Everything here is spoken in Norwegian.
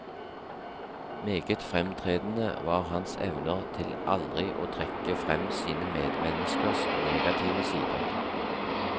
Meget fremtredende var hans evner til aldri å trekke frem sine medmenneskers negative sider.